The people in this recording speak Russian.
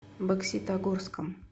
бокситогорском